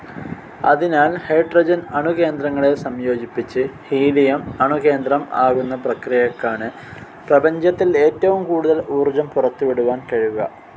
അതിനാൽ ഹൈഡ്രോജൻ അണുകേന്ദ്രങ്ങളെ സംയോജിപ്പിച്ച് ഹീലിയം അണുകേന്ദ്രം ആകുന്നപ്രക്രിയക്കാണ് പ്രപഞ്ചത്തിൽ ഏറ്റവും കൂടുതൽ ഊർജം പുറത്തു വിടുവാൻ കഴിയുക.